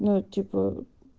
ну типа